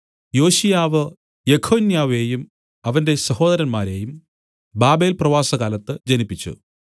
യോശീയാവ് യെഖൊന്യാവെയും അവന്റെ സഹോദരന്മാരെയും ബാബേൽപ്രവാസകാലത്ത് ജനിപ്പിച്ചു